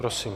Prosím.